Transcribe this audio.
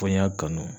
Ko n y'a kanu